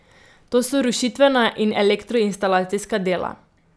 To so rušitvena in elektroinstalacijska dela.